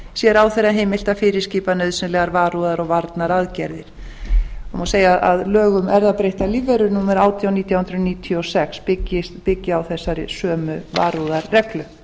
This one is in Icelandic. sé ráðherra heimilt að fyrirskipa nauðsynlegar varúðar og varnaraðgerðir má segja að lög um erfðabreyttar lífverur númer átján nítján hundruð níutíu og sex byggi á þessari sömu varúðarreglu